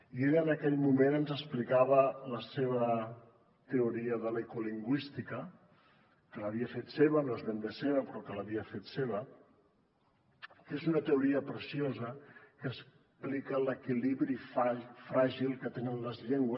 i ella en aquell moment ens explicava la seva teoria de l’ecolingüística que l’havia fet seva no és ben bé seva però l’havia fet seva que és una teoria preciosa que explica l’equilibri fràgil que tenen les llengües